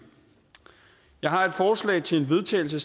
jeg har et forslag til vedtagelse